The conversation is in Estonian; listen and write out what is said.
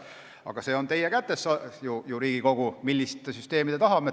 Aga see on ju teie kätes, Riigikogu, millist süsteemi me tahame.